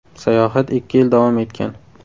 Sayohat ikki yil davom etgan.